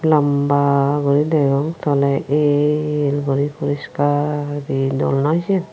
lamba gori dagong tolay el gori poriskar gori aye doll noi seane.